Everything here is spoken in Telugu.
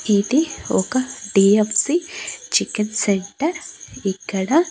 ఇది ఒక డి_ఆఫ్_సి చికెన్ సెంటర్ . ఇక్కడ --